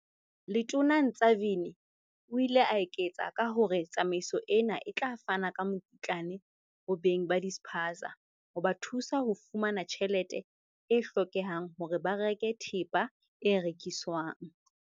Letona Ntshavheni o ile a eketsa ka hore tsamaiso ena e tla fana ka mokitlane ho beng ba dispaza, ho ba thusa ho fumana tjhelete e hlokehang hore ba reke thepa e rekiswang.